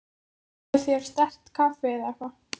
Fáðu þér sterkt kaffi eða eitthvað.